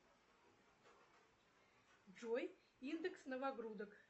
джой индекс новогрудок